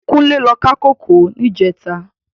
Kunle lò ká kókòó nijètá